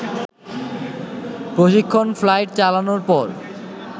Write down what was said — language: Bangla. প্রশিক্ষণ ফ্লাইট চালানোর পর